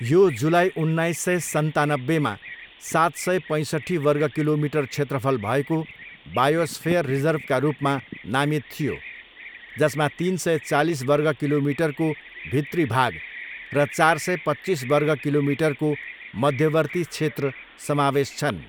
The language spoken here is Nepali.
यो जुलाई उन्नाइस सय सन्तानब्बेमा सात सय पैँसट्ठी वर्ग किलोमिटर क्षेत्रफल भएको बायोस्फेयर रिजर्भका रूपमा नामित थियो, जसमा तिन सय चालिस वर्ग किलोमिटरको भित्री भाग र चार सय पच्चिस वर्ग किलोमिटरको मध्यवर्ती क्षेत्र समावेश छन्।